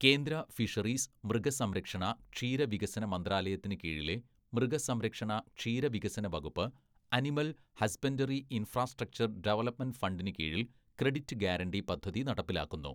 കേന്ദ്ര ഫിഷറീസ്, മൃഗസംരക്ഷണ, ക്ഷീരവികസന മന്ത്രാലയത്തിന് കീഴിലെ മൃഗസംരക്ഷണ, ക്ഷീരവികസന വകുപ്പ്, അനിമൽ ഹസ്ബന്‍ഡറി ഇൻഫ്രാസ്ട്രക്ചർ ഡെവലപ്മെന്റ് ഫണ്ടിന് കീഴിൽ ക്രെഡിറ്റ് ഗ്യാരണ്ടി പദ്ധതി നടപ്പിലാക്കുന്നു.